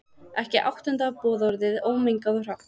Ekki áttunda boðorðið, ómengað og hrátt.